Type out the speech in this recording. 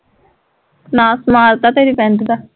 ਨਾਸ ਮਾਰਤਾ ਤੇਰੀ ਪੈਂਟ ਦਾ